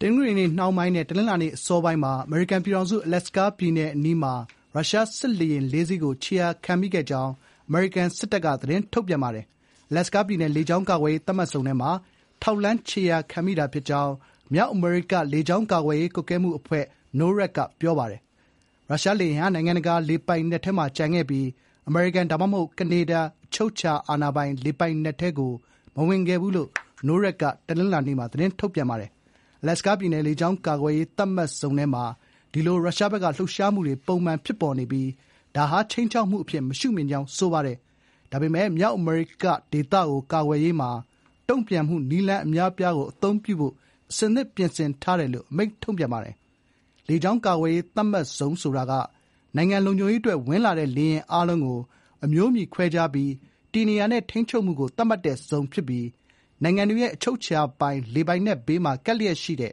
တနင်္ဂနွေနှောင်းပိုင်းနဲ့ တနင်္လာနေ့အစောပိုင်းမှာ အမေရိကန်ပြည်ထောင်စု အလက်စကားပြည်နယ်အနီးမှာ ရုရှားစစ်လေယာဉ် (၄) စင်းကို ခြေရာခံခဲ့ကြောင်း အမေရိကန်စစ်တပ်က သတင်းထုတ်ပြန်ပါတယ်။ “အလက်စကားပြည်နယ် လေကြောင်းကာကွယ်ရေး သတ်မှတ်ဇုန်” ထဲမှာ “ထောက်လှမ်း ခြေရာခံမိတာဖြစ်ကြောင်း” မြောက်အမေရိက လေကြောင်းကာကွယ်ရေးကွပ်ကဲမှုအဖွဲ့ (NORAD) က ပြောပါတယ်။ “ရုရှားလေယာဉ်ဟာ နိုင်ငံတကာလေပိုင်နက်ထဲမှာ ကျန်ခဲ့ပြီး အမေရိကန် ဒါမှမဟုတ် ကနေဒါ အချုပ်အခြာအာဏာပိုင်လေပိုင်နက်ထဲကို မဝင်ခဲ့ဘူး” လို့ မြောက်အမေရိက လေကြောင်းကာကွယ်ရေးကွပ်ကဲမှုအဖွဲ့က တနင်္လာနေ့မှာ ပြောပါတယ်။ “အလက်စကားပြည်နယ် လေကြောင်း ကာကွယ်ရေး သတ်မှတ်ဇုန်” ထဲမှာ ရုရှားဘက်က ဒီလိုလှုပ်ရှားမှုတွေပုံမှန်ဖြစ်ပေါ်နေပြီး ဒါဟာ ခြိမ်းခြောက်အဖြစ်မရှုမြင်ကြောင်းဆိုပါတယ်။ ဒါပေမယ့် "မြောက်အမေရိက ဒေသကို ကာကွယ်ရေးမှာ တုံ့ပြန်မှုနည်းလမ်းအများအပြားကိုအသုံးပြုဖို့ အဆင်သင့်ပြင်ဆင်ထားတယ်" လို့ အမိန့်ထုတ်ပြန်ပါတယ်။ လေကြောင်းကာကွယ်ရေးသတ်မှတ်ဇုန်ဆိုတာက နိုင်ငံလုံခြုံရေးအတွက် ဝင်လာတဲ့ လေယာဉ်အားလုံးကို အမျိုးအမည်ခွဲခြားပြီး တည်နေရာနဲ့ထိန်းချုပ်မှုကို သတ်မှတ်တဲ့ဇုန်ဖြစ်ပြီး ‘နိုင်ငံတွေရဲ့ အချုပ်အခြာပိုင်လေပိုင်နက်’ ဘေးမှာ ကပ်လျက်ရှိတဲ့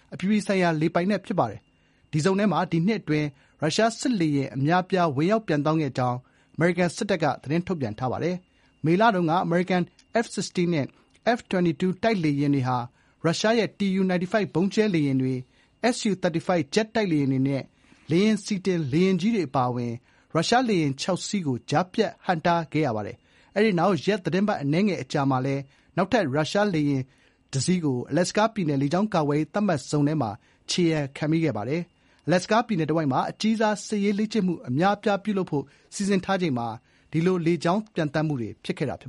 ‘အပြည်ပြည်ဆိုင်ရာ လေပိုင်နက်’ ဖြစ်ပါတယ်။ ဒီဇုန်ထဲမှာ ဒီနှစ်အတွင်း ရုရှားစစ်လေယာဉ်အများအပြား ဝင်ရောက်ပျံသန်းခဲ့ကြောင်း အမေရိကန်စစ်တပ်က ပြောပါတယ်။ မေလတုန်းက အမေရိကန် F-16 နဲ့ F-22 တိုက်လေယာဉ်တွေဟာ ရုရှားရဲ့ TU-95 ဗုံးကြဲလေယာဉ်တွေ၊ SU-35 ဂျက်တိုက်လေယာဉတွေနဲ့ IL-78 လေယာဥ်ဆီ တင် လေယာဥ်ကြီးတွေ ရုရှား လေယာဥ် (၆) စီးကို ကြားဖြတ်ဟန့်တားခဲ့ရပါတယ်။ အဲဒီနောက် ရက်သီတင်းပတ် အနည်းငယ်အကြာမှာလည်း နောက်ထပ် ရုရှားစစ်လေယာဉ်တစီးကို အလက်စကားပြည်နယ် လေကြောင်းကာကွယ်ရေး သတ်မှတ်ဇုန်ထဲမှာ ခြေရာခံမိခဲ့ပါတယ်။ အလာစကားပြည်နယ်တဝိုက်မှာ အကြီးစား စစ်ရေးလေ့ကျင့်မှုအများအပြားပြုလုပ်ဖို့ စီစဉ်ထားချိန်မှာ အဲဒီလို လေကြောင်းပျံသန်းမှုတွေ ဖြစ်ခဲ့တာပါ